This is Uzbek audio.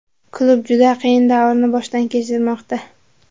Klub juda qiyin davrni boshdan kechirmoqda.